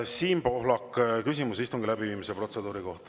Siim Pohlak, küsimus istungi läbiviimise protseduuri kohta.